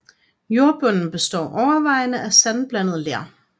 Jordbunden består overvejende af sandblandet ler